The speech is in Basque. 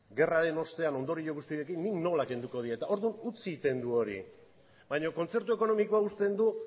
gerraren ostean ondorio guzti horiekin nik nola kenduko diet orduan utzi egiten du hori baina kontzertu ekonomikoa uzten du